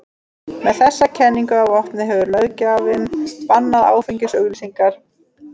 Með þessa kenningu að vopni hefur löggjafinn bannað áfengisauglýsingar.